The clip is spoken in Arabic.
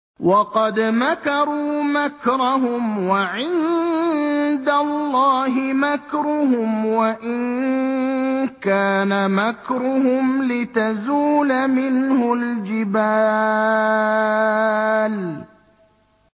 وَقَدْ مَكَرُوا مَكْرَهُمْ وَعِندَ اللَّهِ مَكْرُهُمْ وَإِن كَانَ مَكْرُهُمْ لِتَزُولَ مِنْهُ الْجِبَالُ